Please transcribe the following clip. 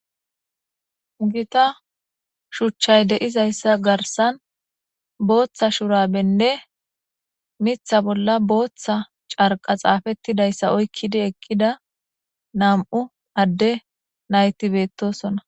ugita shuchchay deizayssa garsan booththa shurabenne mitha bolla booththa carqa xaafettidayssa oykkidi ekkida nam7u adde nayti beettosona